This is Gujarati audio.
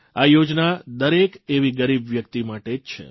આ યોજના દરેક એવી ગરીબ વ્યક્તિ માટે જ છે